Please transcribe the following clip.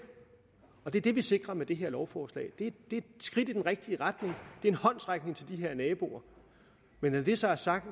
og det er det vi sikrer med det her lovforslag det er et skridt i den rigtige retning det er en håndsrækning til de her naboer men når det så er sagt